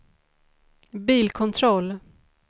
bilkontroll